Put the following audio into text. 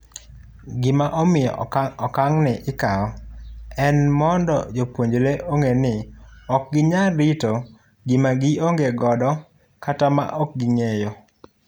gima omiyo okang' ni ikawo en mondo jopuonjre ong'e ni ok ginyal rito gima gionge godo kata maok ging'eyo